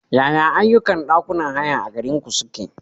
Yaya ayyukan ɗakunan haya a garinku suke?